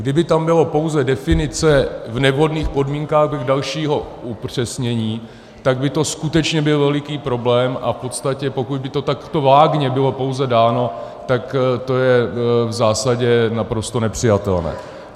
Kdyby tam byla pouze definice "v nevhodných podmínkách" bez dalšího upřesnění, tak by to skutečně byl veliký problém a v podstatě, pokud by to takto vágně bylo pouze dáno, tak to je v zásadě naprosto nepřijatelné.